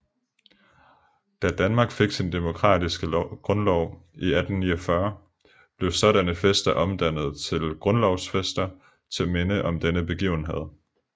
Da Danmark fik sin demokratiske grundlov i 1849 blev sådanne fester omdannet til grundlovsfester til minde om denne begivenhed